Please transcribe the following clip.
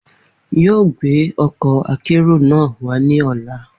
On o mu akero wa ọla.